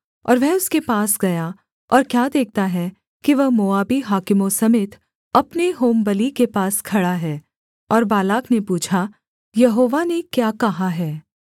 और वह उसके पास गया और क्या देखता है कि वह मोआबी हाकिमों समेत अपने होमबलि के पास खड़ा है और बालाक ने पूछा यहोवा ने क्या कहा है